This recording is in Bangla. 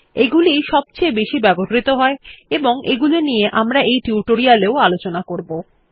এগুলি ই সবচেয়ে বেশি ব্যবহৃত হয় এবং এগুলি নিয়ে আমরা টিউটোরিয়াল এও আলোচনাও করবো